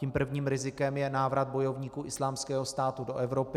Tím prvním rizikem je návrat bojovníků Islámského státu do Evropy.